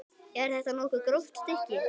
Er þetta nokkuð gróft stykki?